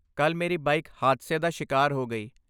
ਕੱਲ੍ਹ ਮੇਰੀ ਬਾਈਕ ਹਾਦਸੇ ਦਾ ਸ਼ਿਕਾਰ ਹੋ ਗਈ।